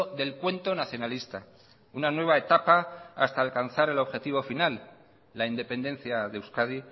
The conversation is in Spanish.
del cuento nacionalista una nueva etapa hasta alcanzar el objetivo final la independencia de euskadi